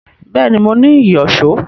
Bẹ́ẹ̀ni, mo ní ìyọ̀ṣó